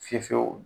Fiye fiyew